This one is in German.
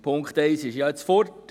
der Punkt 1 ist ja jetzt weg.